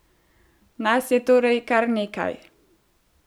Nas je torej kar nekaj!